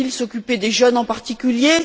Faut il s'occuper des jeunes en particulier?